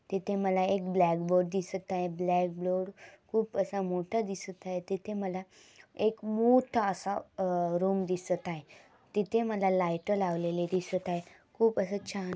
तिथे मला एक ब्लॅक बोर्ड दिसत आहे ब्लॅक बोर्ड खुप असा मोठा दिसत आहे तिथे मल एक मोठा असा आ रूम दिसत आहे तिथे माला लायट लावलेली दिसत आहेत खूप आस छान--